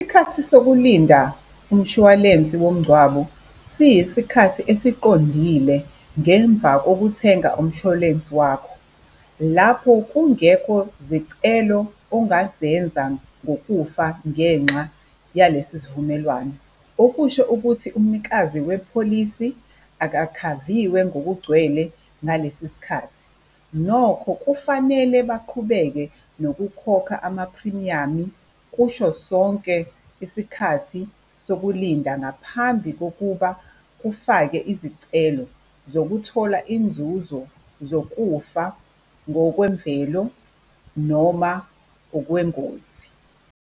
Isikhathi sokulinda umshwalensi womngcwabo siyisikhathi esiqondile ngemva kokuthenga umshwalensi wakho. Lapho kungekho zicelo ongazenza ngokufa ngenxa yalesi sivumelwano, okusho ukuthi umnikazi wepholisi akakhaviwe ngokugcwele ngalesi sikhathi. Nokho kufanele baqhubeke nokukhokha ama-premium-i, kusho sonke isikhathi sokulinda ngaphambi kokuba kufake izicelo zokuthola inzuzo, zokufa ngokwemvelo, noma ngokwengozi.